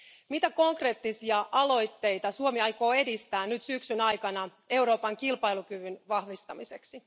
Mitä konkreettisia aloitteita Suomi aikoo edistää nyt syksyn aikana Euroopan kilpailukyvyn vahvistamiseksi?